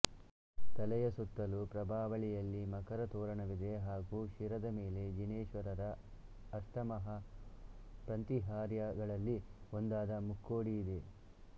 ತಲೆಯ ಸತ್ತಲೂ ಪ್ರಭಾವಳಿಯಲ್ಲಿ ಮಕರ ತೋರಣವಿದೆ ಹಾಗೂ ಶಿರದ ಮೇಲೆ ಜಿನೇಶ್ವರರ ಅಷ್ಟಮಹಾಪ್ರಂತಿಹಾರ್ಯಗಳಲ್ಲಿ ಒಂದಾದ ಮುಕ್ಕೊಡಿಯಿದೆ